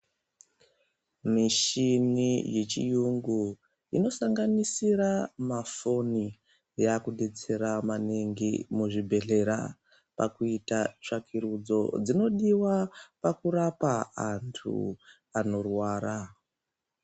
Mishini yechirungu inosanganisira mafoni yakudetsera maningi muzvibhedhlera pakuita tsvakurudzo dzinodiwa pakurapa antu anorwara.